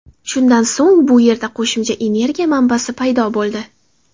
Shundan so‘ng bu yerda qo‘shimcha energiya manbasi paydo bo‘ldi.